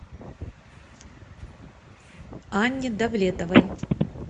анне давлетовой